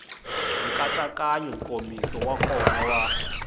nkatsakanyo nkomiso wa kona wa